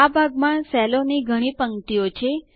આ ભાગમાં સેલોની ઘણી હરોળો છે